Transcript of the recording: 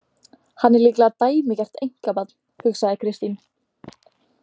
Hann er líklega dæmigert einkabarn, hugsaði Kristín.